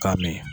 K'a min